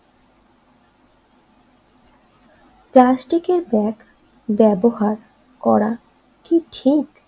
প্লাস্টিকের ব্যাগ ব্যবহার করা কি ঠিক?